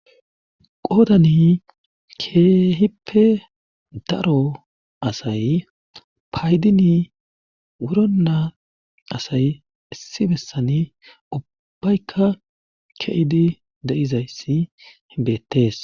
Qodani keehippe daro asay paydini wurona asay issi bessani ubbaykka ke'idi de'iza issi beettees.